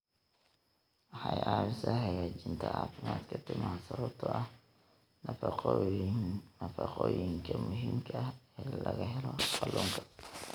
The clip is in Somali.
Waxay ka caawisaa hagaajinta caafimaadka timaha sababtoo ah nafaqooyinka muhiimka ah ee laga helo kalluunka.